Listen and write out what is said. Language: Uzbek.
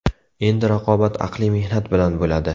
Endi raqobat aqliy mehnat bilan bo‘ladi.